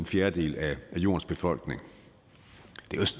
fjerdedel af jordens befolkning